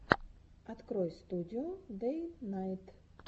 открой студио дэйнайт